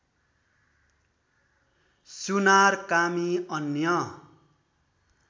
सुनार कामी अन्य